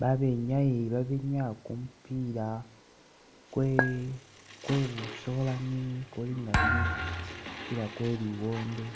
Babenyayi babenyaa kumupila kwe'kwebusolani kukulinga kumupila kweliwondo